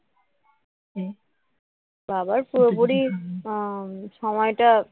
এই বাবার পুরোপুরি আহ সময়টা